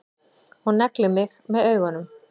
Og neglir mig með augunum.